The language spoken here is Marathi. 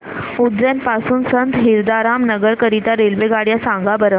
उज्जैन पासून संत हिरदाराम नगर करीता रेल्वेगाड्या सांगा बरं